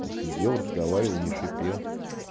он сидел разговаривал не шипел